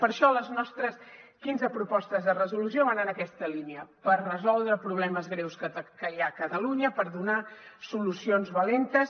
per això les nostres quinze propostes de resolució van en aquesta línia per resoldre problemes greus que hi ha a catalunya per donar solucions valentes